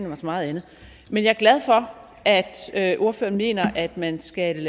mig så meget andet men jeg er glad for at at ordføreren mener at man skal